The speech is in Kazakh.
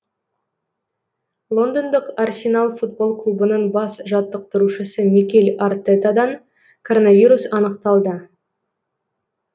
лондондық арсенал футбол клубының бас жаттықтырушысы микель артетадан коронавирус анықталды